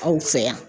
Aw fɛ yan